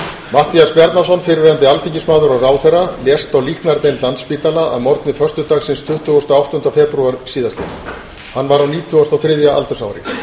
matthías bjarnason fyrrverandi alþingismaður og ráðherra lést á líknardeild landspítala að morgni föstudagsins tuttugasta og áttunda febrúar síðastliðinn hann var á nítugasta og þriðja aldursári matthías bjarnason var fæddur á